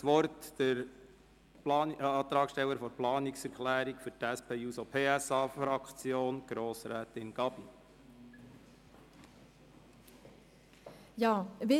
Ich erteile das Wort der Antragstellerin der Planungserklärung für die SP-JUSO-PSAFraktion, Grossrätin Gabi.